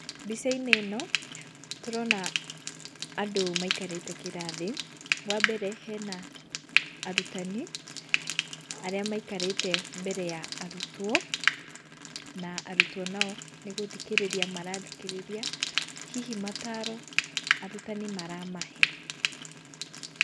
Mbica-inĩ ĩno tũrona andũ maikarĩte kĩrathi. Wambere hena arutani arĩa maikarĩte mbere ya arutwo. Na arutwo nao nĩgũthikĩrĩria marathikĩrĩria hihi mataro arutani maramahe.